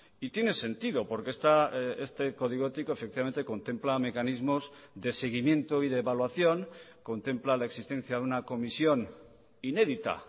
y tiene sentido porque este código ético efectivamente contempla mecanismos de seguimiento y de evaluación contempla la existencia de una comisión inédita